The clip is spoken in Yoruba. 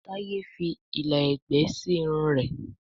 Taye fí ìlà ẹgbẹ sí Irun rẹ